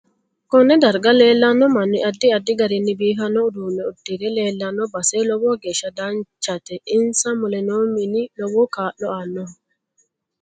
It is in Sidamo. Konne darga leelanno manni addi addi gariini biifanno uduune uddie leelanno base lowo geesha danchate insa mule noo mini lowo kaa'lo aanoho